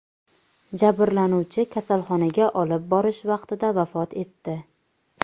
Jabrlanuvchi kasalxonaga olib borish vaqtida vafot etdi.